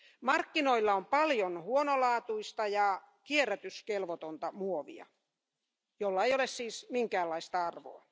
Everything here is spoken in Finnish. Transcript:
Markkinoilla on paljon huonolaatuista ja kierrätyskelvotonta muovia, jolla ei ole siis minkäänlaista arvoa.